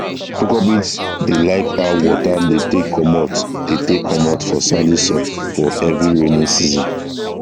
cucurbits dey like how water dey take comot dey take comot for sandy soil for heavy raining season